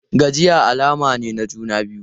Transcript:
Gajiya alama ce ta juna biyu.